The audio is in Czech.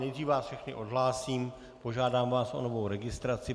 Nejdřív vás všechny odhlásím, požádám vás o novou registraci.